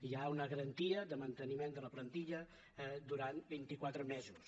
hi ha una garantia de manteniment de la plantilla durant vint i quatre mesos